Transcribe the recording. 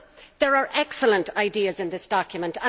There are excellent ideas in this document